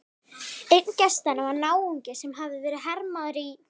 Einn gestanna var náungi sem hafði verið hermaður í